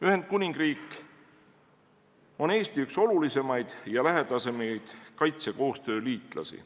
Ühendkuningriik on Eesti üks olulisemaid ja lähedasemaid kaitsekoostöö liitlasi.